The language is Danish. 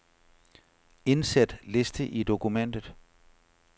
Indsæt liste i dokumentet.